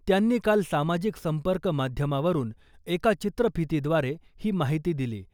त्यांनी काल सामाजिक संपर्क माध्यमावरून एका चित्रफितीद्वारे ही माहिती दिली .